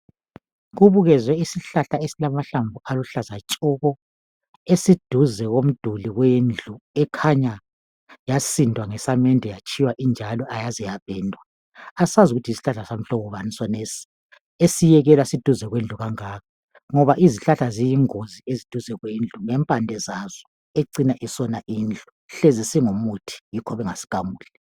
Kubukezwe isihlahla esilamahlamvu aluhlaza tshoko! Esiduze komduli wendlu. Ekhanya yasindwa ngesamende, yatshiywa injalo, ayaze yapendwa. Asazi ukuthi i yisihlahla samhlobo bani sonesi. Esiyekelwa siduze kwendlu kangaka? Ngoba izihlahla ziyingozi duze lezindlu. Ngempande zazo, ezicina zisona indlu. Hlezi singumuthi yikho bengasigamuli.